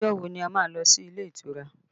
Ọjọ́ wo ni a má lọ sí ilé ìtura?